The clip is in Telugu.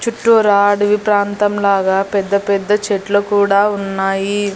చుట్టూరా అడవి ప్రాంతం లాగా పెద్ద పెద్ద చెట్లు కూడా ఉన్నాయి.